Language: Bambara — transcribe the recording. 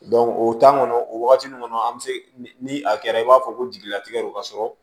o kɔnɔ o wagati nun kɔnɔ an be se ni a kɛra i b'a fɔ ko jigilatigɛ don ka sɔrɔ